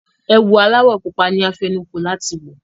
Ẹ̀wù aláwọ̀ pupa ni a fẹnukó láti wọ̀.